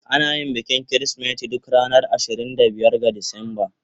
Ana yin bikin Kirsimeti duk ranar ashirin da biyar ga Disamba.